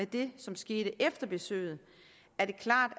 det som skete efter besøget er det klart